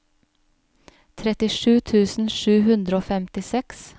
trettisju tusen sju hundre og femtiseks